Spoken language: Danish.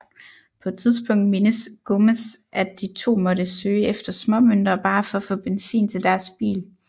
På et tidspunkt mindes Gomez at de to måtte søge efter småmønter bare for at få benzin til deres bil